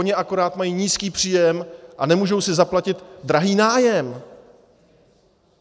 Oni akorát mají nízký příjem a nemůžou si zaplatit drahý nájem.